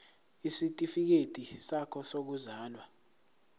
isitifikedi sakho sokuzalwa